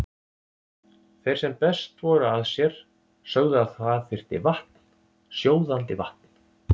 Þeir sem best voru að sér sögðu að það þyrfti vatn, sjóðandi vatn.